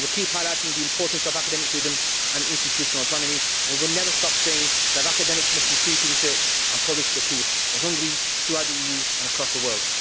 We will keep highlighting the importance of academic freedom and institutional autonomy and we will never stop saying that academics must be free to research and publish the truth, in Hungary, throughout the EU and across the world.